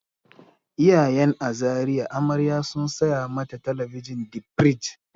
Iyayen a Zariya amarya sun saya mata talabijin di firij.